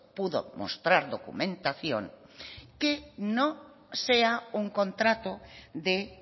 pudo mostrar documentación que no sea un contrato de